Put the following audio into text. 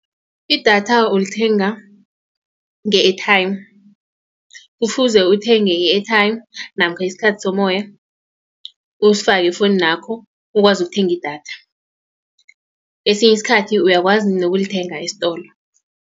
Idatha ulithenga nge-airtime kufuze uthenge i-airtime namkha isikhathi somoya usifake efowuninakho ukwazi ukuthenga idatha. Esinye isikhathi uyakwazi nokulithenga esitolo.